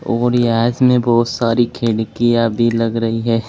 और यह इसमें बहुत सारी खिड़कियां भी लग रही है।